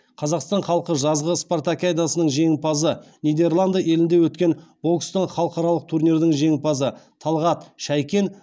қазақстан халқы жазғы спартакиадасының жеңімпазы нидерланды елінде өткен бокстың халықаралық турнирдің жеңімпазы талғат шәйкен